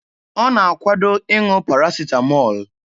Ọ na-akwado ịṅụ parasịtamọọl.